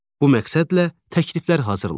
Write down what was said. Bu məqsədlə təkliflər hazırlayın.